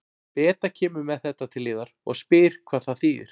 Beta kemur með þetta til yðar og spyr hvað það þýðir.